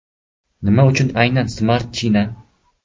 Nima uchun aynan Smart China ?